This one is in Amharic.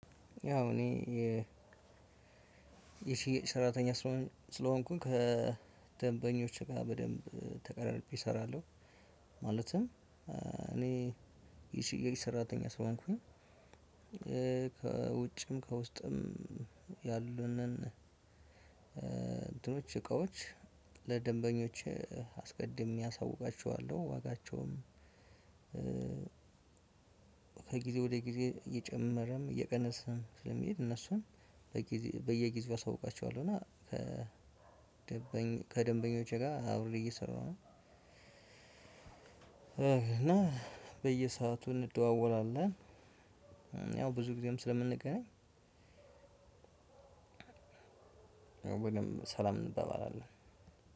ያው እኔ የሺ ሰራተኛ ስለሆንኩኝ ከደንበኞች ጋር በደንብ ተቀራርቤ እሰራለሁ። ማለትም እኔ የሽያጭ ሰራተኛ ስሆንኩኝ ከውጭም ከውስጥም ያሉንን እንትኖች እቃዎች ለደንበኞች አስቀድሜ አሳውቃቸዋለሁ ዋጋቸውን። ከጊዜ ወደ ጊዜ እየጨመረም እየቀነሰም ስለሚሄድ እነሱን በጊዜ በየጊዜው አሳውቃቸዋለሁ እና ከደንበኞቼ ጋር አብሬ እየሰራሁ ነው። እና በየሰአቱ እንደዋወላለን ያው ብዙ ጊዜም ስለምንገናኝ ወይም ሰላም እንበባላለን።